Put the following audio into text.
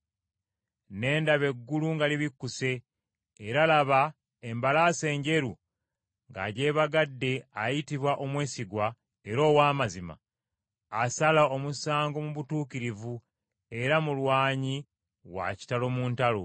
Ne ndaba eggulu nga libikkuse era laba embalaasi enjeru ng’agyebagadde ayitibwa Omwesigwa era Ow’amazima, asala omusango mu butuukirivu era mulwanyi wa kitalo mu ntalo.